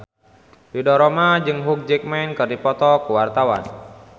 Ridho Roma jeung Hugh Jackman keur dipoto ku wartawan